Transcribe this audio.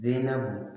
Denkɛw